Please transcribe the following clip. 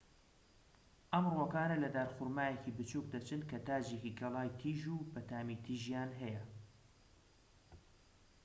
ئەم ڕووەکانە لە دارخورمایەکی بچووک دەچن کە تاجێکی گەڵای تیژ و بەتامی تیژیان هەیە